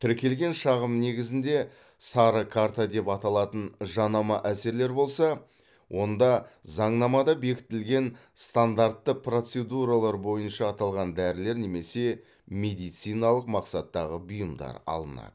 тіркелген шағым негізінде сары карта деп аталатын жанама әсерлер болса онда заңнамада бекітілген стандартты процедуралар бойынша аталған дәрілер немесе медициналық мақсаттағы бұйымдар алынады